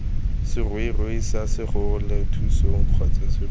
seroring sa segogelathusong kgotsa serori